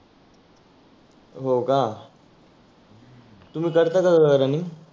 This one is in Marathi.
हो का? तुम्ही करता का रनींग